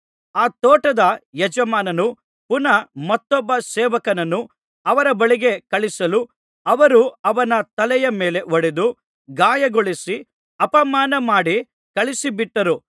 ಆ ತೋಟದ ಯಜಮಾನನು ಪುನಃ ಮತ್ತೊಬ್ಬ ಸೇವಕನನ್ನು ಅವರ ಬಳಿಗೆ ಕಳುಹಿಸಲು ಅವರು ಅವನ ತಲೆಯ ಮೇಲೆ ಹೊಡೆದು ಗಾಯಗೊಳಿಸಿ ಅಪಮಾನಮಾಡಿ ಕಳುಹಿಸಿಬಿಟ್ಟರು